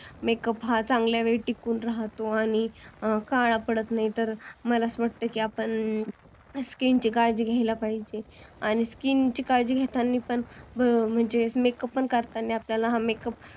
makeup हा चांगला वेळ टिकून राहतो आणि काळा पडत नाही तर मला अस वाटतय की आपण skin ची काळजी घेतली पाहिजेल आणि skin ची काळजी घेताना पण म्हणजे makeup पण करताना आपण